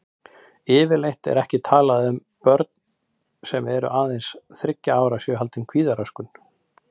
Yfirleitt er ekki talað um að börn sem eru aðeins þriggja ára séu haldin kvíðaröskun.